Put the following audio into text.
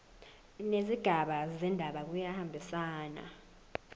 nezigaba zendaba kuyahambisana